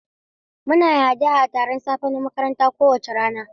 Muna yin addu'a a taron safe na makaranta kowace rana.